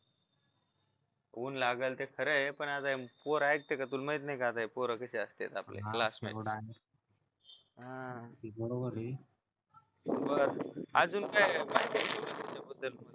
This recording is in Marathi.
ऊन लागलं ते खरं ये पण आता हे पोर ऐकत्या का तुला माहित नाही का आता हे पोर कशे असतात आपले classmate बर अजून काय बद्दल